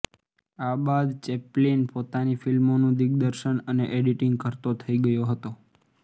આ બાદ ચૅપ્લિન પોતાની ફિલ્મોનું દિગ્દર્શન અને એડિંટિંગ કરતો થઈ ગયો હતો